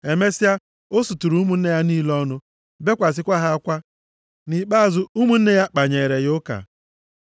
Emesịa, o suturu ụmụnne ya niile ọnụ, bekwasịkwa ha akwa. Nʼikpeazụ, ụmụnne ya kpanyeere ya ụka.